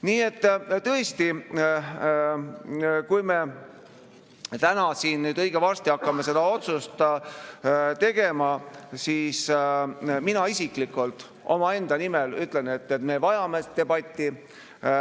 Nii et tõesti, kui me täna siin õige varsti hakkame seda otsust tegema, siis mina isiklikult omaenda nimel ütlen, et me vajame debatti.